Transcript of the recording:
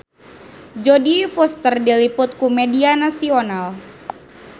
Jodie Foster diliput ku media nasional